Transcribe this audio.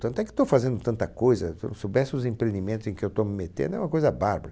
Tanto é que estou fazendo tanta coisa, se o... soubesse os empreendimentos em que eu estou me metendo, é uma coisa bárbara.